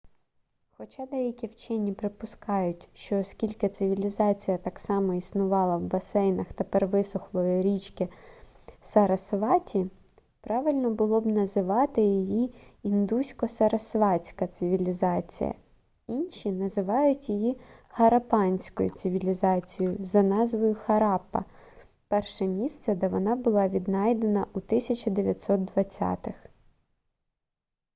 хоча деякі вчені припускають що оскільки цивілізація так само існувала в басейнах тепер висохлої річки сарасваті правильно було б називати її індусько-сарасватська цивілізація інші називають її хараппанською цивілізацією за назвою хараппа перше місце де вона була віднайдена у 1920-их